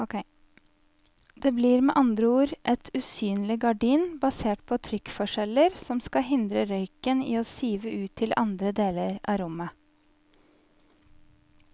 Det blir med andre ord et usynlig gardin basert på trykkforskjeller som skal hindre røyken i å sive ut til andre deler av rommet.